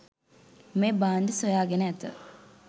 මේ භාණ්ඩ සොයාගෙන ඇත